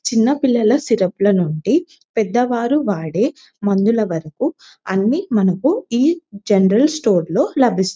చిన్న పిల్లల సిరప్ ల నుండి పెద్దవాళ్ళు వాడే మందుల వరకు ఈ జనరల్ స్టోర్ లో లభిస్తాయి.